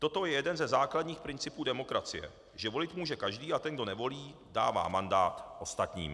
Toto je jeden ze základních principů demokracie, že volit může každý a ten, kdo nevolí, dává mandát ostatním.